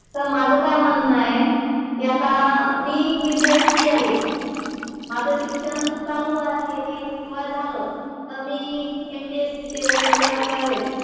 Sir माझं काय म्हणणं आहे, कि आता मी एक विद्यार्थी आहे. माझं शिक्षण चालू आहे किंवा झालं. मी एम पी एस सी चे वगैरे क्लास लावेल.